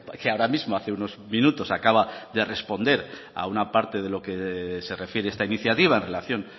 que ahora mismo hace unos minutos acaba de responder a una parte de lo que se refiere esta iniciativa en relación